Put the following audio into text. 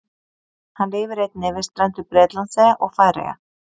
Hann lifir einnig við strendur Bretlandseyja og Færeyja.